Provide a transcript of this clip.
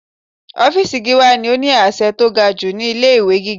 Ọ́fìsì Gíwá ni ó ní àṣẹ tó ga jù ní ilé ìwé gíga.